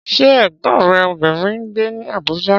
Ṣé Ẹ̀gbọ́n rẹ obìnrin ń gbé ní Abuja?